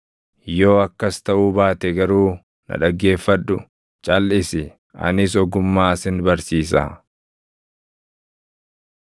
Yoo akkas taʼuu baate garuu na dhaggeeffadhu; calʼisi, anis ogummaa sin barsiisaa.”